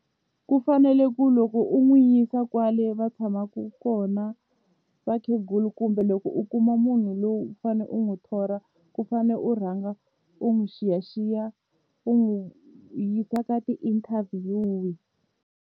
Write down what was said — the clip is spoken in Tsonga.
Ku fanele ku loko u n'wi yisa kwale va tshamaku kona vakhegula kumbe loko u kuma munhu lowu u fane u n'wi thola ku fanele u rhanga u n'wi xiyaxiya u n'wi yisa ka ti-interview-i.